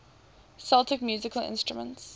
celtic musical instruments